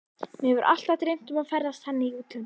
Mig hefur alltaf dreymt um að ferðast þannig í útlöndum.